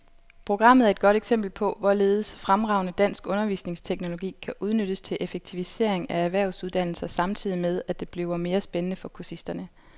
Programmet er et godt eksempel på, hvorledes fremragende dansk undervisningsteknologi kan udnyttes til effektivisering af erhvervsuddannelser samtidig med, at det bliver mere spændende for kursisterne.